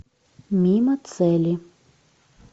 мимо цели